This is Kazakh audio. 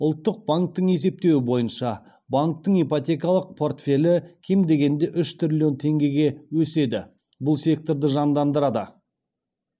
ұлттық банктің есептеуі бойынша банктің ипотекалық портфелі кем дегенде үш триллион теңгеге өседі бұл секторды жандандырады